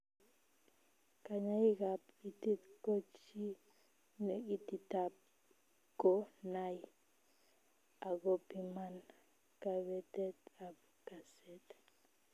Kanyaik ab itiit ko chiii ne ititaat ko nay agopiman kabetet ab kaset